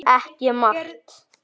Ekki margt.